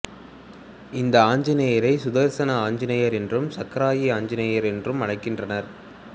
இந்த ஆஞ்சநேயரை சுதர்சன ஆஞ்சநேயர் என்றும் சக்கராயி ஆஞ்சநேயர் என்றும் அழைக்கின்றனர்